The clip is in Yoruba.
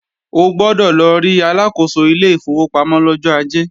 O gbọ́dọ̀ lọ rí Aláàkóso ilé ìfowópamọ́ lọ́jọ́ Ajé!